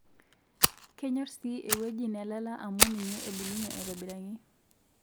kenyor sii ewueji nelala amu ninye ebulunye aitobiraki